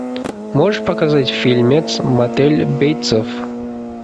можешь показать фильмец мотель бейтсов